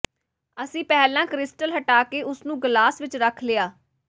ਅਸੀਂ ਪਹਿਲਾ ਕ੍ਰਿਸਟਲ ਹਟਾ ਕੇ ਉਸ ਨੂੰ ਗਲਾਸ ਵਿਚ ਰੱਖ ਲਿਆ